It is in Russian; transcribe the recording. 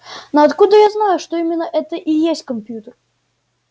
но откуда я знаю что именно это и есть компьютер